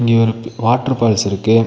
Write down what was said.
இங்க ஒரு water falls இருக்கு.